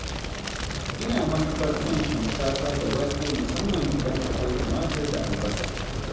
Ina matuƙar son shinkafa da wake musamman idan akwai tumatir da albasa.